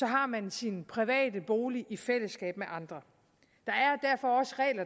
har man sin private bolig i fællesskab med andre